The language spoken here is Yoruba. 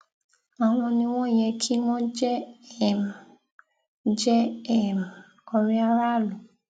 àwọn ni wọn yẹ kí wọn jẹ um jẹ um ọrẹ aráàlú